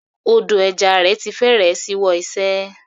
Odò ẹja rẹ̀ ti fẹ́rẹ̀ ṣíwọ́ iṣẹ́.